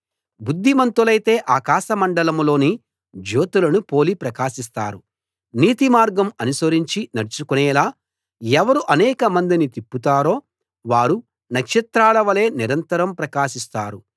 బుద్ధిమంతులైతే ఆకాశమండలం లోని జ్యోతులను పోలి ప్రకాశిస్తారు నీతిమార్గం అనుసరించి నడుచుకొనేలా ఎవరు అనేకమందిని తిప్పుతారో వారు నక్షత్రాల వలె నిరంతరం ప్రకాశిస్తారు